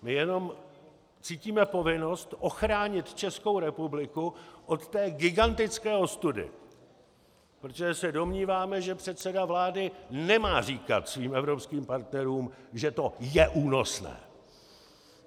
My jenom cítíme povinnost ochránit Českou republiku od té gigantické ostudy, protože se domníváme, že předseda vlády nemá říkat svým evropským partnerům, že to je únosné.